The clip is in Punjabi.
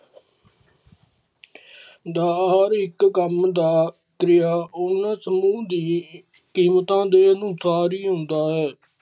ਦਾਰ ਇੱਕ ਕੰਮ ਦਾ ਤਰ੍ਹਾਂ ਉਨ ਸਮੂਹ ਦੀ ਕੀਮਤਾਂ ਦੇ ਅਨੁਸਾਰ ਹੀ ਆਉਂਦਾ ਹੈ